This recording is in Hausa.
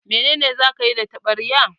Menene za ka yi da taɓarya?